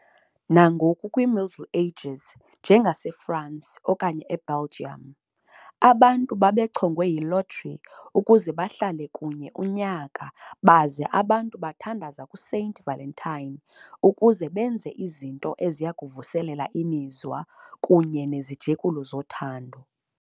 Nangoku kwi-Middle Ages, njengaseFransi okanye e-Belgium, abantu babechongwe yi-lottery ukuze bahlale kunye unyaka baza abantu bathandaza kuSaint Valentine ukuze benze izinto eziyakuvuselela imizwa kunye cnezijekulo zothando.